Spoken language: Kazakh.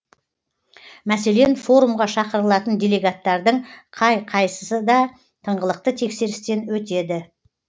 мәселен форумға шақырылатын делегаттардың қай қайсы да тыңғылықты тексерістен өтеді